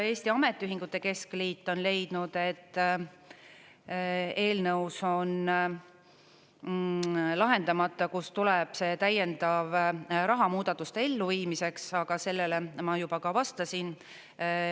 Eesti Ametiühingute Keskliit on leidnud, et eelnõus on lahendamata, kust tuleb see täiendav raha muudatuste elluviimiseks, aga sellele ma juba vastasin.